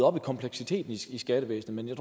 op i kompleksiteten i skattevæsenet men jeg